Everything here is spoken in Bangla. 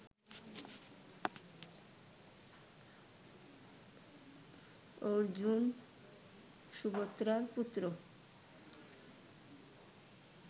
ও অর্জুন, সুভদ্রার পুত্র